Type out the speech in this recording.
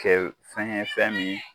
kɛ fɛngɛ fɛn min